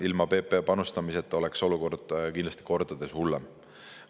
Ilma PPA panustamiseta oleks olukord kindlasti kordades hullem.